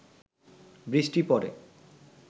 বৃষ্টি পড়ে